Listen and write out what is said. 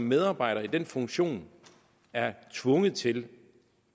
medarbejdere i den funktion er tvunget til